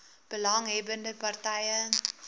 belang hebbende partye